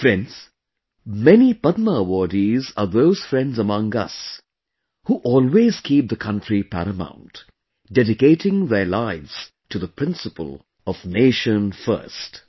Friends, many Padma awardees are those friends among us, who always kept the country paramount, dedicating their lives to the principle of "Nation first"